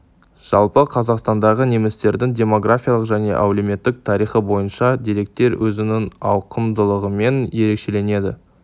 жалпы қазақстандағы немістердің демографиялық және әлеуметтік тарихы бойынша деректер өзінің ауқымдылығымен ерекшеленеді